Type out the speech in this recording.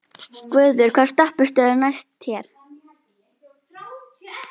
Guðbjörg, hvaða stoppistöð er næst mér?